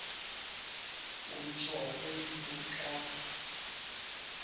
utsho umntu xa